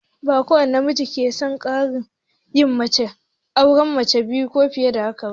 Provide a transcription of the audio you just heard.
Ba kowani namiji ke son yin tsarin auren mace biyu ko fiye ba.